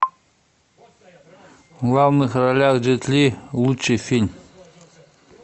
в главных ролях джет ли лучший фильм